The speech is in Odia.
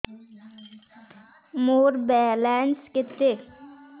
ମୋର ବାଲାନ୍ସ କେତେ